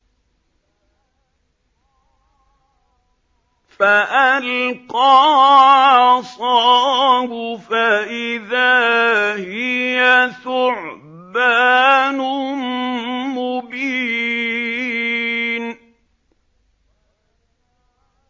فَأَلْقَىٰ عَصَاهُ فَإِذَا هِيَ ثُعْبَانٌ مُّبِينٌ